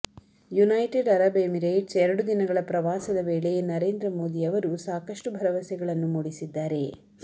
United Arab Emirates ಎರಡು ದಿನಗಳ ಪ್ರವಾಸದ ವೇಳೆ ನರೇಂದ್ರ ಮೋದಿ ಅವರು ಸಾಕಷ್ಟು ಭರವಸೆಗಳನ್ನು ಮೂಡಿಸಿದ್ದಾರೆ